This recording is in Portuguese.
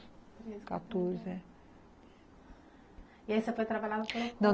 quatorze, é. E aí você foi trabalhar no? Não.